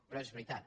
però és veritat